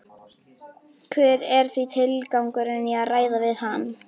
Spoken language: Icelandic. Heimir Már Pétursson: Þannig að þér finnst þetta ótrúverðugur málflutningur?